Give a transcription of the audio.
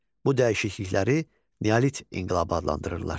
Bu dəyişiklikləri Neolit inqilabı adlandırırdılar.